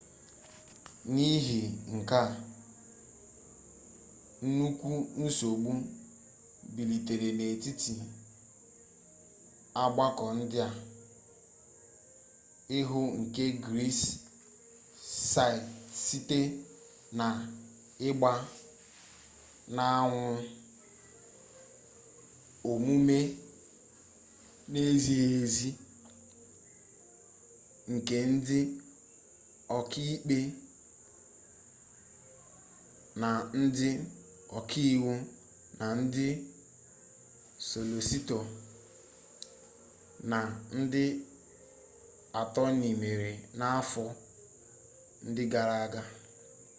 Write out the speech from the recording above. n'ihi nke a nnukwu nsogbu bilitere n'etiti ọgbakọ ndị oka iwu nke gris site na-igba n'anwụ omume n'ezighi ezi nke ndị ọka ikpe na ndị oka iwu na ndị solositọ na ndị atoni mere n'afọ ndị gara aga